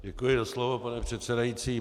Děkuji za slovo, pane předsedající.